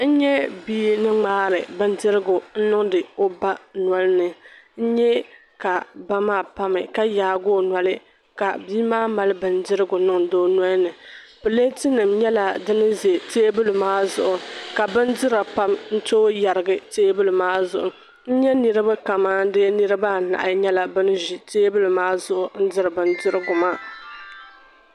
N-nyɛ bii ni ŋmaari bindirigu n-niŋdi o ba noli ni. N-nyɛ ka ba maa pa mi ka yaagi o noli ka bii mali bindirigu niŋd'o noli. Platenim nyɛla dini ze tabili maa zuɣu ka bindira pam n-tooi yarigi tabili maa zuɣu. N-nyɛ niribi kaman de niriba anahi nyɛla bani ʒi tabili maa zuɣu n-diri bindirigu maa.